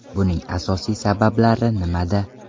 Buning asosiy sabablari nimada?